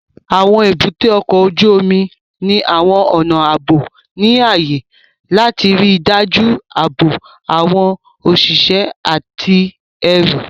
Àwọn èbúté ọkọ̀ ojú omi ní àwọn ọnà ààbò ní ààyè láti ríi dájú ààbò àwọn òṣìṣẹ́ àti ẹrù